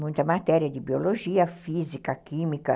muita matéria de biologia, física, química.